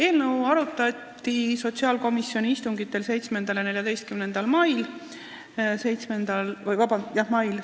Eelnõu arutati sotsiaalkomisjoni 7. ja 14. mai istungil.